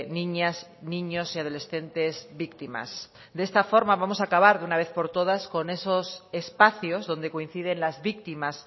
niñas niños y adolescentes víctimas de esta forma vamos a acabar de una vez por todas con esos espacios donde coinciden las víctimas